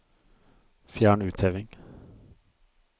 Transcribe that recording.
Fjern utheving